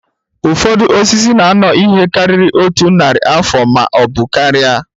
Ụfọdụ osisi na-anọ ihe karịrị otu narị afọ ma ọ bụ karịa